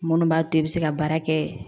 Minnu b'a to i bɛ se ka baara kɛ